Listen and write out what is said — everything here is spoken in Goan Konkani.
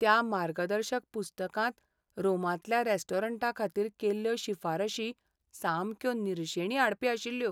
त्या मार्गदर्शक पुस्तकांत रोमांतल्या रेस्टॉरंटांखातीर केल्ल्यो शिफारशी सामक्यो निरशेणी हाडपी आशिल्ल्यो.